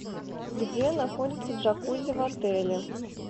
где находится джакузи в отеле